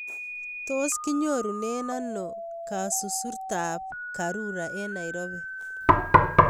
Tos'kinyorunen ano kasururtap karura eng' Nairobi